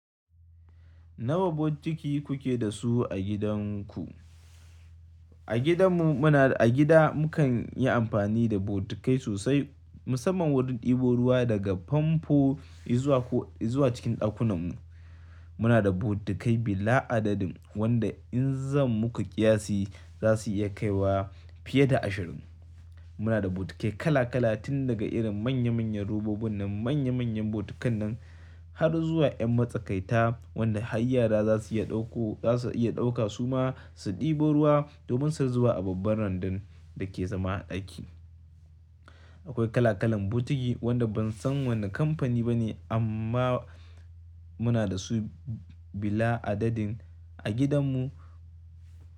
Nawa bokiti kuke da su a gidan ku? A gidan mu muna, a gida mukan yi amfani da bokitikai sosai musamman wurin ɗebo ruwa daga famfo izuwa ko izuwa cikin ɗakunan mu. Muna da bokitikai bila adadin wanda in zan muku kiyasi za su iya kaiwa fiye da ashirin. Muna da bokitikai kala kala tun daga irin manya manyan robobin nan manya manyan bokitikan nan har zuwa yan matsakaita wanda hayyara za su iya ɗauko, za su iya ɗauka suma su ɗebo ruwa domin su zuba a babban randan da ke zama a ɗaki. Akwai kala kalan bokitiki wanda ban san wane kamfani ba ne amma muna da su bila adadin a gidan mu.